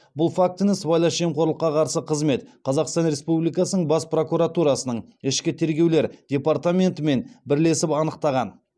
бұл фактіні сыбайлас жемқорлыққа қарсы қызмет қазақстан республикасының бас прокуратурасының ішкі тергеулер департаментімен бірлесіп анықтаған